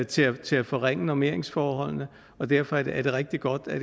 til at til at forringe normeringsforholdene og derfor er det rigtig godt at